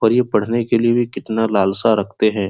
और ये पढ़ने के लिए भी कितना लालसा रखते है।